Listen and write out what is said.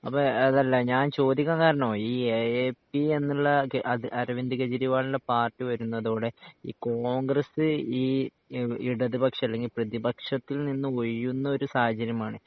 അപ്പൊ അതല്ല ഞാൻ ചോദിക്കാൻ കാരണം ഈ എഎപി എന്നുള്ള അരവിന്ദ് കെജ്രിവാൾൻ്റെ പാർട്ടി വരുന്നതോടെ ഈ കോൺഗ്രെസ് ഈ ഇടതുപക്ഷം അല്ലെങ്കി പ്രതിപക്ഷത്തിൽ നിന്ന് ഒഴിയുന്ന ഒരു സാഹചര്യമാണ്